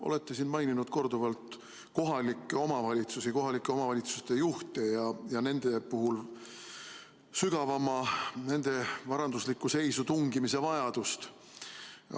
Olete siin korduvalt maininud kohalikke omavalitsusi, kohalike omavalitsuste juhte ja nende puhul sügavamalt nende varanduslikku seisu tungimise vajadust.